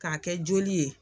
K'a kɛ joli ye.